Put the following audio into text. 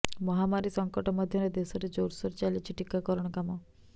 ମହାମାରୀ ସଙ୍କଟ ମଧ୍ୟରେ ଦେଶରେ ଜୋରସୋର ଚାଲିଛି ଟିକାକାରଣ କାମ